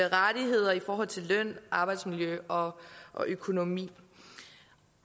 rettigheder i forhold til løn arbejdsmiljø og og økonomi